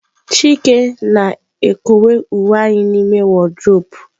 Chike na-ekowe uwe anyị n'ime wardrobe.